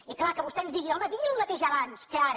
i clar que vostè ens digui home digui el mateix abans que ara